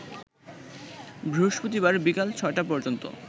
বৃহস্পতিবার বিকাল ৬টা পর্যন্ত